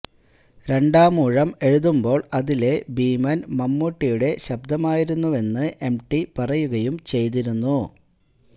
രണ്ടാമൂഴം എഴുതുമ്പോള് അതിലെ ഭീമന് മമ്മൂട്ടിയുടെ ശബ്ദമായിരുന്നെന്ന് എംടി പറയുകയും ചെയ്തിരുന്നു